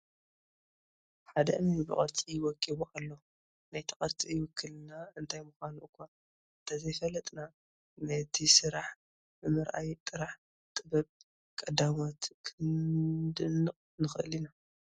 ሓደ እምኒ ብቅርፂ ወቂቡ ኣሎ፡፡ ናይቲ ቅርፂ ውክልና እንታይ ምዃኑ እዃ እንተዘይፈለጥና ነቲ ስራሕ ብምርኣይ ጥራሕ ጥበብ ቀዳሞት ክነድንቕ ንኽእል ኢና፡፡